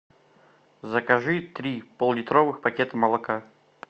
закажи три поллитровых пакета молока